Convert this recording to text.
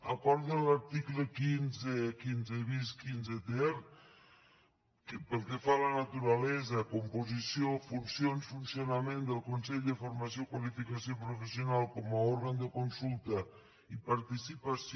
acords de l’article quinze quinze bis quinze ter pel que fa a la naturalesa composició funcions funcionament del consell de formació i qualificació professional com a òrgan de consulta i participació